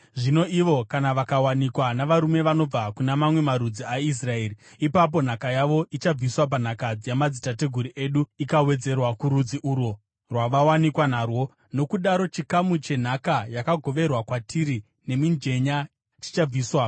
Zvino ivo kana vakawanikwa navarume vanobva kuna mamwe marudzi aIsraeri, ipapo nhaka yavo ichabviswa panhaka yamadzitateguru edu ikawedzerwa kurudzi urwo rwavawanikwa narwo. Nokudaro chikamu chenhaka yakagoverwa kwatiri nemijenya chichabviswa.